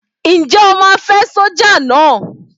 Ǹjẹ́ o máa fẹ́ sọ́jà náà?